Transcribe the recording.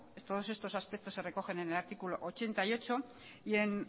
todos estos aspectos se recogen en el artículo ochenta y ocho y en